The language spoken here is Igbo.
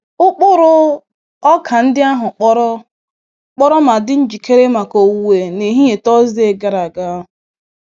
Ụkpụrụ ọka ndị ahụ kpọrọ kpọrọ ma dị njikere maka owuwe n'ehihie Tọọsde gara aga.